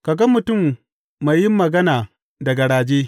Ka ga mutum mai yin magana da garaje?